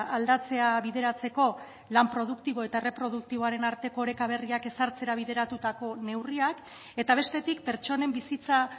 aldatzea bideratzeko lan produktibo eta erreproduktiboaren arteko oreka berriak ezartzera bideratutako neurriak eta bestetik pertsonen bizitza